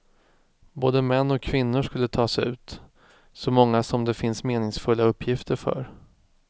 Både män och kvinnor skulle tas ut, så många som det finns meningsfulla uppgifter för.